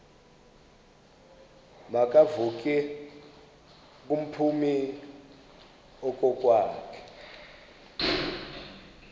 makevovike kumphuthumi okokwakhe